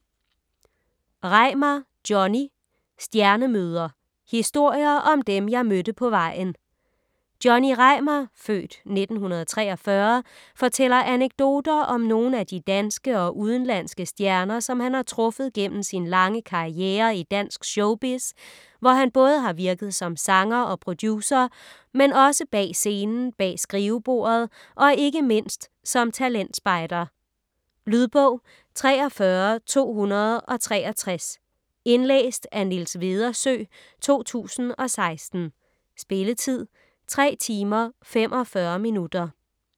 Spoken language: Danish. Reimar, Johnny: Stjernemøder: historier om dem, jeg mødte på vejen Johnny Reimar (f. 1943) fortæller anekdoter om nogle af de danske og udenlandske stjerner, som han har truffet gennem sin lange karrierre i dansk showbiz, hvor han både har virket som sanger og producer, men også bag scenen, bag skrivebordet og ikke mindst som talentspejder. Lydbog 43263 Indlæst af Niels Vedersø, 2016. Spilletid: 3 timer, 45 minutter.